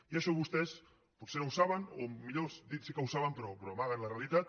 i això vostès potser no ho saben o millor dit sí que ho saben però amaguen la realitat